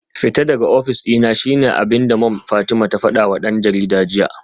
Fita daga ofis dina shine abinda Mom Fatima ta fadawa dan jarida jiya